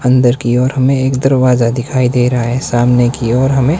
अंदर के ओर हमें एक दरवाजा दिखाई दे रहा है सामने की और हमें --